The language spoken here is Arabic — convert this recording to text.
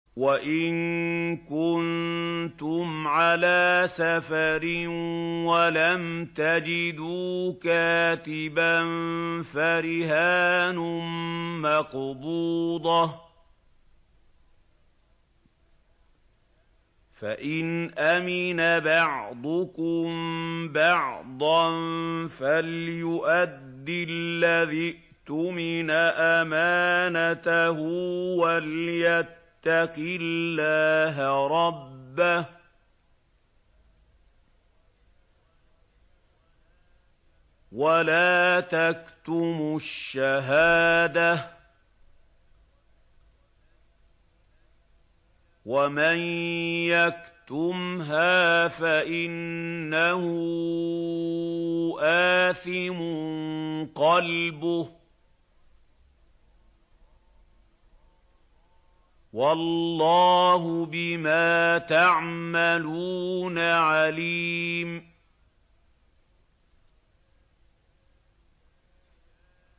۞ وَإِن كُنتُمْ عَلَىٰ سَفَرٍ وَلَمْ تَجِدُوا كَاتِبًا فَرِهَانٌ مَّقْبُوضَةٌ ۖ فَإِنْ أَمِنَ بَعْضُكُم بَعْضًا فَلْيُؤَدِّ الَّذِي اؤْتُمِنَ أَمَانَتَهُ وَلْيَتَّقِ اللَّهَ رَبَّهُ ۗ وَلَا تَكْتُمُوا الشَّهَادَةَ ۚ وَمَن يَكْتُمْهَا فَإِنَّهُ آثِمٌ قَلْبُهُ ۗ وَاللَّهُ بِمَا تَعْمَلُونَ عَلِيمٌ